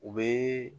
U bɛ